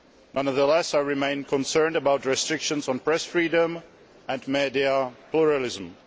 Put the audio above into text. Nevertheless, I remain concerned about restrictions on press freedom and media pluralism.